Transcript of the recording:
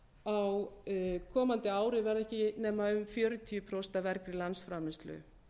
á komandi ári verða ekki nema um fjörutíu prósent af vergri landsframleiðslu